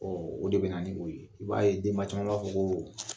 Ɔ o de bɛ na ni o ye i b'a ye denba caman b'a fɔ ko